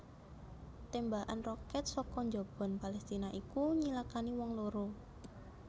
Témbakan roket saka njaban Palestina iku nyilakani wong loro